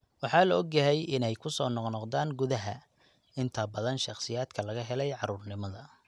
Waxaa la og yahay inay ku soo noqnoqdaan gudaha (inta badan shakhsiyaadka laga helay carruurnimada).